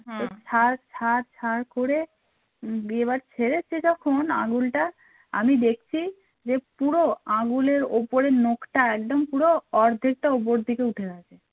দিয়ে এবার ছেড়েছে যখন আঙুলটা আমি দেখছি যে পুরো আঙুলের ওপরের নোখটা একদম পুরো অর্ধেকটা উপর দিকে উঠে আছে